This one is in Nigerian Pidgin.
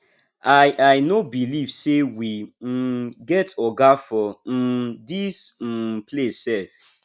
i i no believe say we um get oga for um dis um place sef